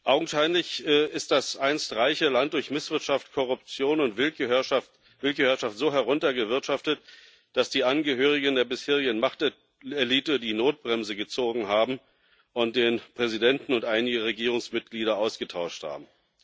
Augenscheinlich ist das einst reiche Land durch Misswirtschaft, Korruption und Willkürherrschaft so heruntergewirtschaftet, dass die Angehörigen der bisherigen Machtelite die Notbremse gezogen und den Präsidenten und einige Regierungsmitglieder ausgetauscht haben.